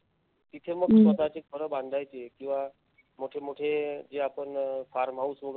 तिथे मग स्वतःचे घरं बांधायचे किंवा मोठे मोठे जे आपण farm house म्हणू